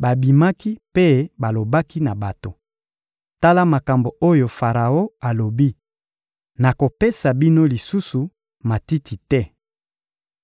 babimaki mpe balobaki na bato: — Tala makambo oyo Faraon alobi: «Nakopesa bino lisusu matiti te.